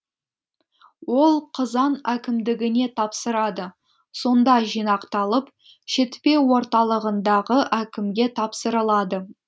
ол қызан әкімдігіне тапсырады сонда жинақталып шетпе орталығындағы әкімге тапсырылады